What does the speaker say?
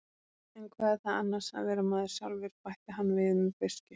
En hvað er það annars að vera maður sjálfur, bætti hann við með beiskju.